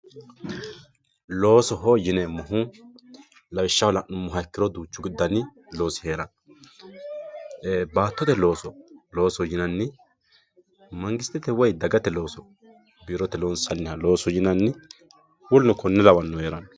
loosoho yineemmohu lawishshaho la'nummoro duuchu dani loosi heeranno ee baattote loosi looso loosoho yinanni mangistete woyi dagate looso loosoho yinanni biirote loonsanniha loosoho yinanni woluno konne lawannohu heeranno.